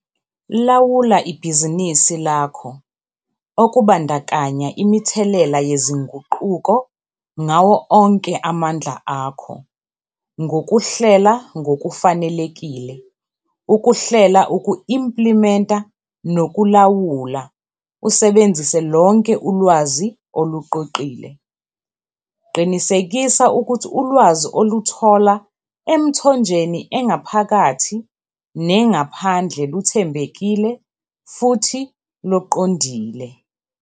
Lawula ibhizinisi lakho, okubandakanya imithelela yezinguquko, ngawo onke amandla akho ngokuhlela ngokufanelekile, ukuhlela, uku-implimenta nokulawula, usebenzise lonke ulwazi oluqoqile. Qinisekisa ukuthi ulwazi, oluthola emithonjeni engaphakathi nengaphandle, luthembekile futhi loqondile.